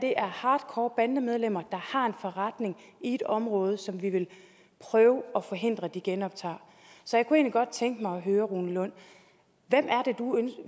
er hardcore bandemedlemmer der har en forretning i et område som vi vil prøve at forhindre de genoptager så jeg kunne egentlig godt tænke mig at høre rune lund